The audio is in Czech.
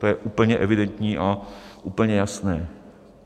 To je úplně evidentní a úplně jasné.